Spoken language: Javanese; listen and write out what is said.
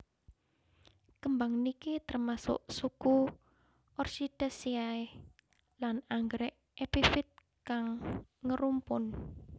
Kembang niki termasuk suku Orchidaceae lan anggrek epifit kang ngerumpun